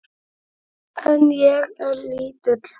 En ég er lítil.